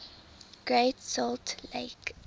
great salt lake